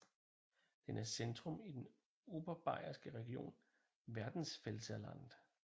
Den er centrum i den Oberbayerske region Werdenfelser Land